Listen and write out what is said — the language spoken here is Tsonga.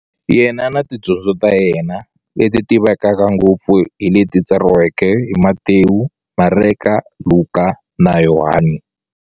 Yena na tidyondzo ta yena, leti tivekaka ngopfu hi leti tsariweke hi-Matewu, Mareka, Luka, na Yohani.